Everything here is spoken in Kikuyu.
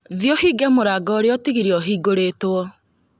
Thiĩ ũhinge mũrango ũrĩa utigire ũhingũrĩtwo